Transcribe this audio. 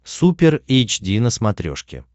супер эйч ди на смотрешке